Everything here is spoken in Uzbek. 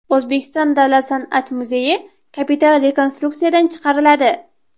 O‘zbekiston Davlat san’at muzeyi kapital rekonstruksiyadan chiqariladi.